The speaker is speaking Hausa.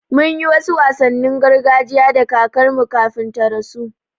Mun yi wasu wasannin gargajiya da kakarmu kafin ta rasu.